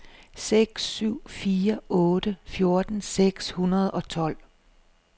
seks syv fire otte fjorten seks hundrede og tolv